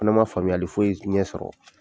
fana man faamuyali foyi ɲɛ sɔrɔ.